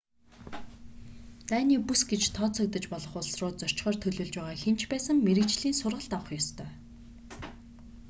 дайны бүс гэж тооцогдож болох улс руу зорчихоор төлөвлөж байгаа хэн ч байсан мэргэжлийн сургалт авах ёстой